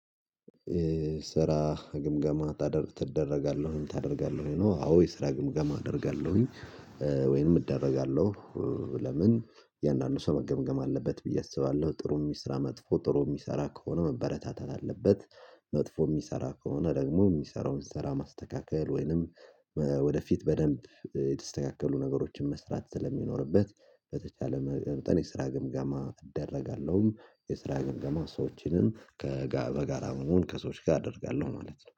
ስራ ግምገማ ታደርጋለሁኝ ታደርጋለሁኝ አዎ የስራ ግምገማ አደርጋለሁኝ ወይንም እደረጋለሁ። ለምን የእያንዳንዱ ሰው መገምገም አለበት ብዬ አስባለሁ። ጥሩ የሚስራ መጥፎ ጥሩ የሚሰራ ከሆነ መበረታታት አለበት። መጥፎ የሚሰራ ከሆነ ደግሞ የሚሰራውን ስራ ማስተካከል ወይንም ወደፊት በደንብ የተስተካከሉ ነገሮችን መስራት ስለሚኖርበት። በተቻለ መጠን የስራ ግምጋማ እደረጋለሁም የስራ ግምጋማ ሰዎችንም ከበጋራ መሆን ከሰዎች ጋር አደርጋለሁ ማለት ነው